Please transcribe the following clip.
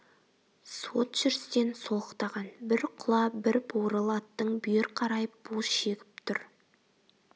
суыт жүрістен солықтаған бір құла бір бурыл аттың бүйір қарайып бу шегіп тұр